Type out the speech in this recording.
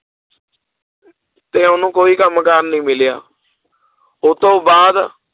ਤੇ ਉਹਨੂੰ ਕੋਈ ਕੰਮ ਕਾਰ ਨੀ ਮਿਲਿਆ ਉਹ ਤੋਂ ਬਾਅਦ